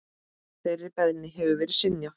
Þeirri beiðni hefur verið synjað.